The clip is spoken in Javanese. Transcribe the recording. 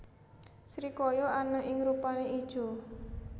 Srikaya ana sing rupané ijo